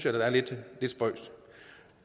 er lidt spøjst